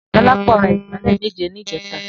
Dolapo rà igbálè méjé nijètá